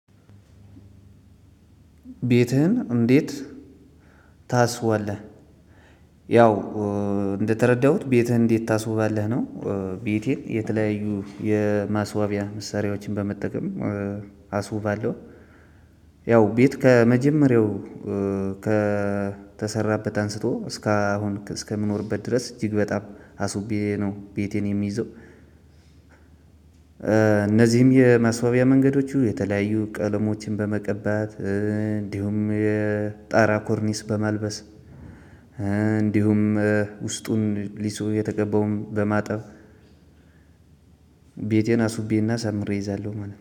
ቤትህን እንዴት ታስዋለህ? ያው እንደተረዳሁት ቤትህን እንዴት ታስውባለህ ነው። ቤቴን የተለያዩ የማስዋቢያ መሰሪያዎችን በመጠቀም አስውባለሁ። ያው ቤት ከመጀመሪያው ከተሰራበት አንስቶ እስካሁን እስከምኖርበት ድረስ እጅግ በጣም አስውቤ ነው ቤቴን የሚይዘው። እነዚም የማስዋቢያ መንገዶች የተለያዮ ቀለሞችን በመቀባት ኮርኒስ በማልበስ እንዲሁም ውስጡን የተቀባውን በማጠብ። ቤቴን አሱቤና አሳምሬ እይዛለሁ ማለት ነው